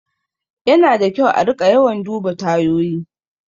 Yana da kyau a riƙa yawan duba tayoyi.